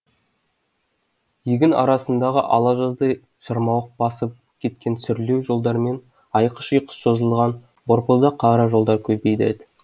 егін арасындағы ала жаздай шырмауық басып кеткен сүрлеу жолдармен айқыш ұйқыш созылған борпылдақ қара жолдар көбейді